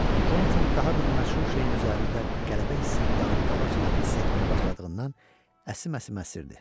Conatan daha bir məşhur şeyin üzərində qələbə hissinin dadını qabaqcadan hiss etməyə başladığından əsim-əsim əsirdi.